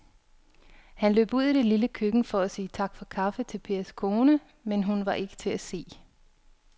Han løb ud i det lille køkken for at sige tak for kaffe til Pers kone, men hun var ikke til at se.